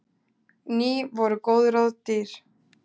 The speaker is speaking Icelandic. Ný voru góð ráð dýr.